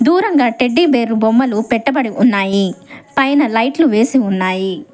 దూరంగా టెడ్డిబేర్లు బొమ్మలు పెట్టబడి ఉన్నాయి పైన లైట్లు వేసి ఉన్నాయి.